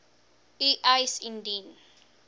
u eis indien